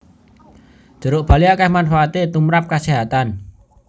Jeruk bali akeh manfaate tumprap kasehatan